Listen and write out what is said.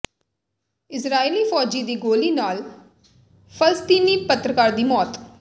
ਇਜ਼ਰਾਈਲੀ ਫ਼ੌਜੀ ਦੀ ਗੋਲ਼ੀ ਨਾਲ ਫਲਸਤੀਨੀ ਪੱਤਰਕਾਰ ਦੀ ਮੌਤ